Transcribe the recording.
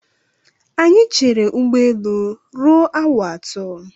Anyị chere ụgbọelu ruo awa atọ.